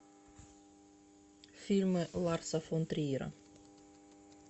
фильмы ларса фон триера